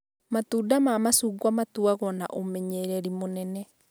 Matunda ma macungwa matũagwo na ũmenyererĩ mũnene